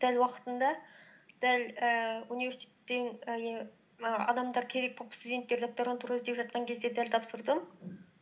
дәл уақытында дәл ііі университеттен ііі адамдар керек боп студенттер докторантура іздеп жатқан кезде дәл тапсырдым